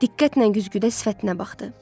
Diqqətlə güzgüdə sifətinə baxdı.